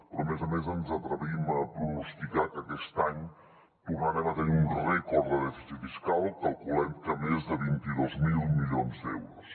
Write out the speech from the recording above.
però a més a més ens atrevim a pronosticar que aquest any tornarem a tenir un rècord de dèficit fiscal calculem que més de vint dos mil milions d’euros